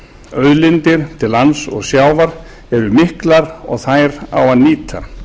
auðlindir til lands og sjávar eru miklar og þær á að nýta